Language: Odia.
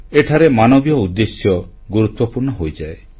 ଏଠାରେ ମାନବୀୟ ଉଦ୍ଦେଶ୍ୟ ଗୁରୁତ୍ୱପୂର୍ଣ୍ଣ ହୋଇଯାଏ